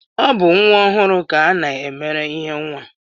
Ọ bụ nwa ọhụụ ka a na-emere ihe nwa